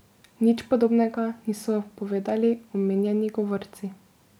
Nič podobnega niso povedali omenjeni govorci.